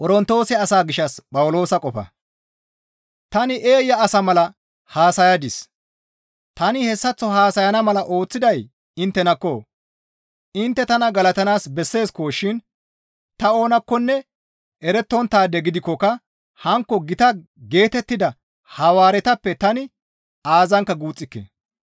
Tani eeya asa mala haasayadis! Tani hessaththo haasayana mala ooththiday inttenakko! Intte tana galatanaas besseeskko shin ta oonakkonne erettonttaade gidikkoka hankko gita geetettida Hawaaretappe tani aazankka guuxxike.